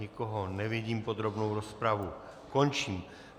Nikoho nevidím, podrobnou rozpravu končím.